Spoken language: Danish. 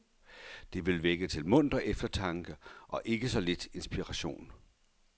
Det vil vække til munter eftertanke og ikke så lidt inspiration.